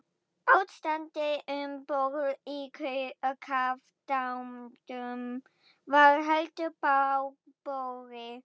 Ástandið um borð í kafbátnum var heldur bágborið.